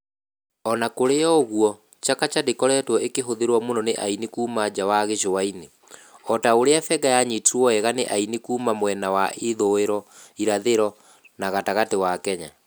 O na kũrĩ ũguo, Chakacha ndĩkoretwo ĩkĩhũthĩrwa mũno nĩ aini kuuma nja wa gĩcũa-inĩ, o ta ũrĩa benga yanyitirwo wega nĩ aini kuuma mwena wa ithũĩro, irathĩro na gatagatĩ wa Kenya.